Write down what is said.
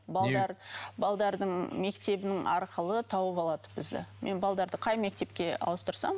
мектебінің арқылы тауып алады бізді мен қай мектепке ауыстырсам